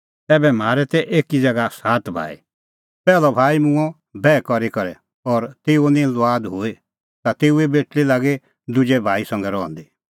ऐबै म्हारै तै एकी ज़ैगा सात भाई पैहलअ भाई मूंअ बैह करी करै और तेऊए निं लुआद हुई ता तेऊए बेटल़ी लागी दुजै संघै रहंदी